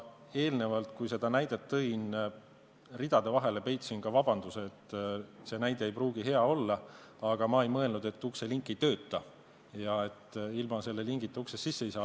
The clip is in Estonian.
Ma eelnevalt, kui seda näidet tõin, peitsin ridade vahele ka vabanduse, et see näide ei pruugi hea olla, aga ma ei mõelnud, et ukselink ei tööta ja et ilma selle lingita uksest sisse ei saa.